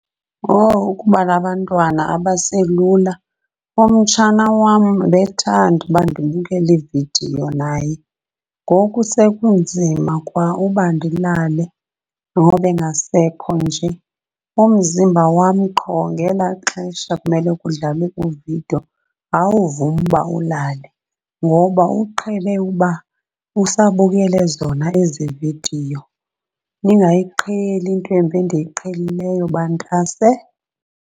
Owu ukuba nabantwana abaselula, umtshana wam ebethanda uba ndibukele iividiyo naye ngoku sekunzima kwa uba ndilale ngoba engasekho nje. Umzimba wam qho ngelaa xesha kumele kudlalwe iividiyo awuvumi uba ulale ngoba uqhele uba usabukele zona ezi vidiyo. Ningayiqheli into embi endiyiqhelileyo bantase.